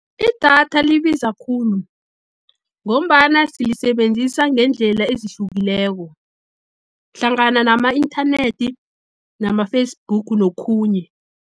Idatha libiza khulu, ngombana silisebenzisa ngeendlela ezihlukileko, hlangana nama-inthanethi, nama-Facebook, nokhunye.